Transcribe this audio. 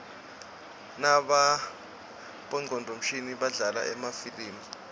nabongcondvo mshini badlala emafilimi